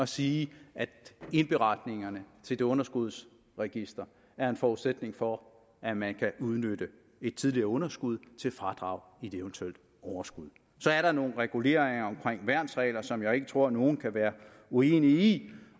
sige at indberetningerne til det underskudsregister er en forudsætning for at man kan udnytte et tidligere underskud til fradrag i et eventuelt overskud så er der nogle reguleringer omkring værnsregler som jeg ikke tror at nogen kan være uenig i